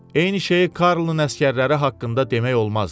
Eyni şeyi Karlın əsgərləri haqqında demək olmazdı.